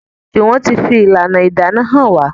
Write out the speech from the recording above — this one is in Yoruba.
Juwon tí fi ìlànà ìdáná hàn wá.